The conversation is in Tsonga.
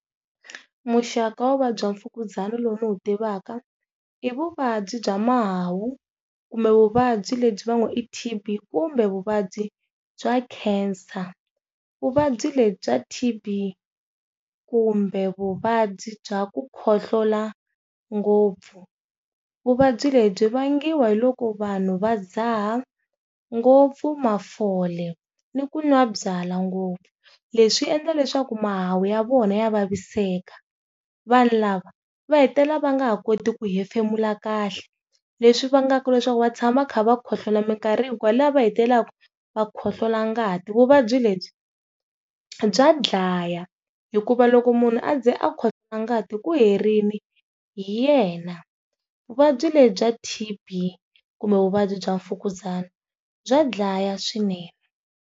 Muxaka wa vuvabyi bya Mfukuzana lowu ndzi wu tivaka i vuvabyi bya mahawu kumbe vuvabyi lebyi va ngo i T_B kumbe vuvabyi bya Nkhensa vuvabyi lebyi bya T_B kumbe vuvabyi bya ku khohlola ngopfu. Vuvabyi lebyi byi vangiwa hi loko vanhu va ndzhaha ngopfu mafole ni ku n'wa byalwa ngopfu, leswi endla leswaku mahawu ya vona ya vaviseka vanhu lava va hetelela va nga ha koti ku hefemula kahle leswi vangaka leswaku va tshama kha va khohlola minkarhi hikwalaho va hetelelaka va khohlola ngati. Vuvabyi lebyi bya dlaya hikuva loko munhu a ze a khohlola ngati ku herile hi yena vuvabyi lebyi bya T_B kumbe vuvabyi bya Mfukuzana bya dlaya swinene